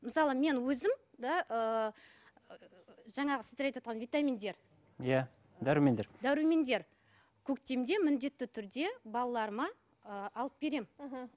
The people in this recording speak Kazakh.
мысалы мен өзім да ыыы жаңағы сіздер айтывотқан витаминдер иә дәрумендер дәрумендер көктемде міндетті түрде балаларыма ыыы алып беремін мхм